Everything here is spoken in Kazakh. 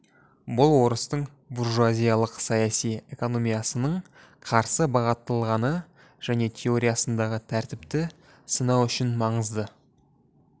бұл орыстың буржуазиялық саяси экономиясының қарсы бағытталғаны және теориясындағы тәртіпті сынау үшін маңызды